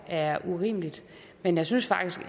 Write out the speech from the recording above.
er urimeligt men jeg synes faktisk